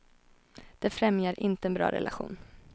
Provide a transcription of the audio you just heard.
Det främjar inte en bra relation.